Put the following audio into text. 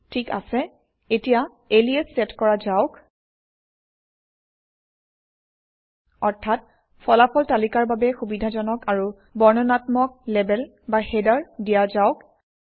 ঠিক আছে এতিয়া এলিয়াছ চেট কৰা যাওক অৰ্থাৎ ফলাফল তালিকাৰ বাবে সুবিধাজনক আৰু বৰ্ণনাত্মক লেবেল বা হেডাৰ দিয়া যাওক